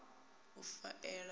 a faela na u a